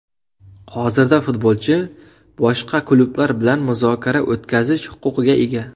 Hozirda futbolchi boshqa klublar bilan muzokara o‘tkazish huquqiga ega.